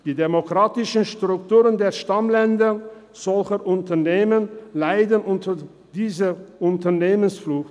Die demokratischen Strukturen der Stammländer solcher Unternehmen leiden unter dieser Unternehmensflucht.